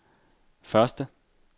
første